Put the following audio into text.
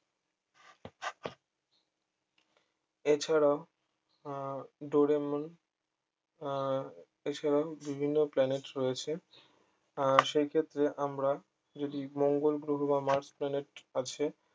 এছাড়াও আহ ডেরেমন আহ এছাড়াও বিভিন্ন planet রয়েছে আহ সেই ক্ষেত্রে আমরা যদি মঙ্গোল গ্রহ বা mars planet আছে